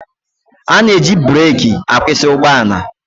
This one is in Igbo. A na-eji breki akwụsị ụgbọala.